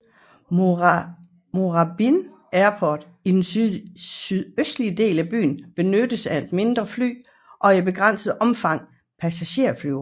Moorabbin Airport i den sydøstlige del af byen benyttes af mindre fly og i begrænset omfang passagererfly